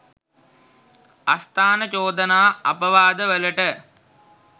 අස්ථාන චෝදනා අපවාදවලට